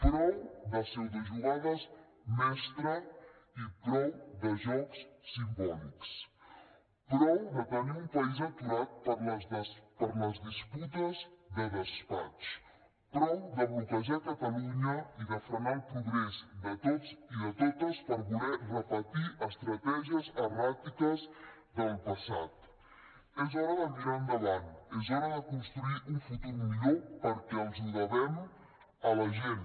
prou de pseudojugades mestres i prou de jocs simbòlics prou de tenir un país aturat per les disputes de despatx prou de bloquejar catalunya i de frenar el progrés de tots i de totes per voler repetir estratègies erràtiques del passat és hora de mirar endavant és hora de construir un futur millor perquè els ho devem a la gent